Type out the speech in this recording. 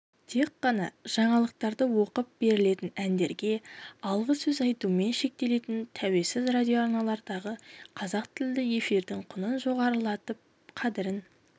тек қана жаңалықтарды оқып берілетін әндерге алғы сөз айтумен шектелетін тәуелсіз радиоарналардағы қазақ тілді эфирдің құнын жоғарылатып қадірін